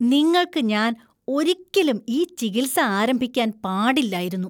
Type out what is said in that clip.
നിങ്ങൾക്ക് ഞാൻ ഒരിക്കലും ഈ ചികിത്സ ആരംഭിക്കാൻ പാടില്ലായിരുന്നു.